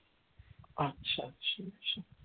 আচ্ছা আচ্ছা আচ্ছা